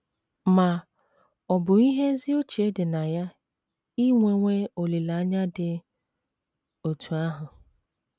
Ma, ọ̀ bụ ihe ezi uche dị na ya inwewe olileanya dị otú ahụ?